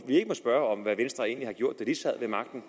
spørge hvad venstre egentlig gjorde da de sad ved magten